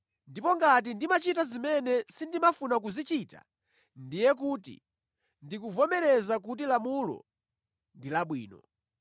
Ndipo ngati ndimachita zimene sindimafuna kuzichita, ndiye kuti ndikuvomereza kuti lamulo ndi labwino.